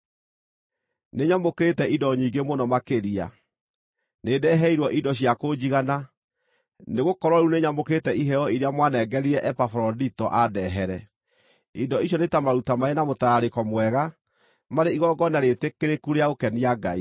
Nĩnyamũkĩrĩte indo nyingĩ mũno makĩria; nĩndeheirwo indo cia kũnjigana, nĩgũkorwo rĩu nĩnyamũkĩrĩte iheo iria mwanengerire Epafarodito andehere. Indo icio nĩ ta maruta marĩ na mũtararĩko mwega, marĩ igongona rĩĩtĩkĩrĩku rĩa gũkenia Ngai.